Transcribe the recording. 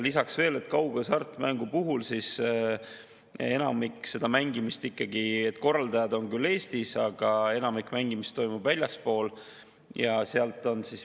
Lisaks veel see, et kaughasartmängu puhul on korraldajad küll Eestis, aga enamik mängimisest toimub väljaspool.